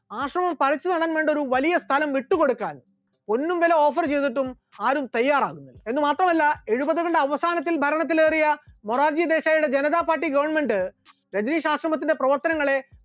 ആശ്രമം പറിച്ചുനടാൻ വേണ്ട ഒരു വലിയ സ്ഥലം വിട്ടുകൊടുക്കാൻ പൊന്നുംവില offer ചെയ്തിട്ടും ആരും തയാറായില്ല, എന്ന് മാത്രമല്ല എഴുപതുകളുടെ അവസാനത്തിൽ ഭരണത്തിൽ കയറിയ മൊറാർജി ദേശായിയുടെ ജനതാ party government രജനീഷ് ആശ്രമത്തിന്റെ പ്രവർത്തനങ്ങളെ